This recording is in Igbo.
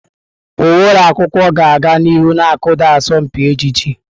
Uwe ụlọ akwụkwọ ga-aga n'ihu na-akụda asọmpi ejiji.